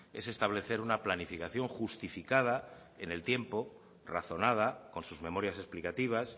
es establecer una planificación justificada en el tiempo razonada con sus memorias explicativas